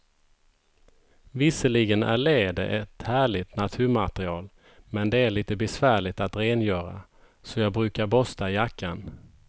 Visserligen är läder ett härligt naturmaterial, men det är lite besvärligt att rengöra, så jag brukar borsta jackan.